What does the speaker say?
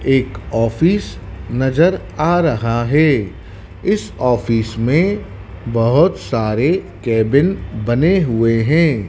एक ऑफिस नजर आ रहा हैं इस ऑफिस में बहोत सारे केबिन बने हुए हैं।